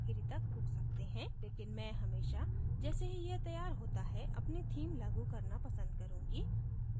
लेकिन मैं हमेशा जैसे ही यह तैयार होता है अपनी theme लागू करना पसंद करूँगी